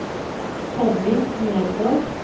Tommy Nergård